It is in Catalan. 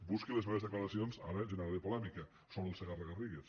busqui les meves declaracions ara generaré polèmica sobre el segarra garrigues